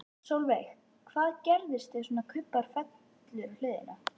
Sólveig: Hvað gerist ef svona kubbur fellur á hliðina?